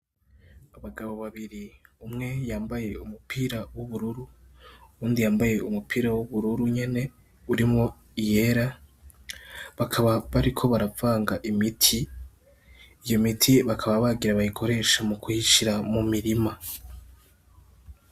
Abagabo babiri, umwe yambaye umupira w'ubururu, uwundi yambaye umupira w'ubururu nyene urimwo iyera. Bakaba bariko baravanga imiti, iyo miti bakaba bagire bayikoreshe mu kuyishira mu mirima.